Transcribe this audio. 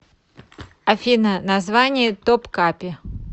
афина название топкапи